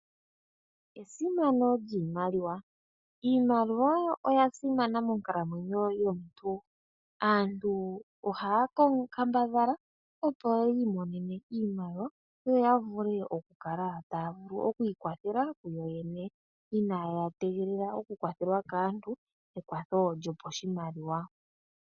Esimano lyiimaliwa, iimaliwa oyasimana monkalamwenyo yomuntu. Aantu ohaya kambadhala opo yimonene iimaliwa yo ya vule okukala taya vulu okwiikwathala ku yoyene iina ya tegelela oku kwathelwa kaantu ekwatho lyopashimaliwa.